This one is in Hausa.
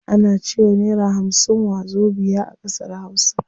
Ana cewa naira hamsin wazobiya a ƙasar hausa.